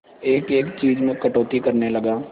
एक एक चीज में कटौती करने लगा